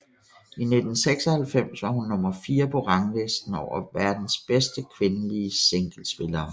I 1996 var hun nummer fire på ranglisten over verdens bedste kvindelige singlespillere